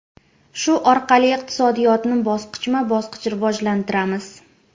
Shu orqali iqtisodiyotni bosqichma-bosqich rivojlantiramiz.